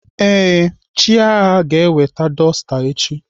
Ee, Chiaga ga-eweta dọsta echi.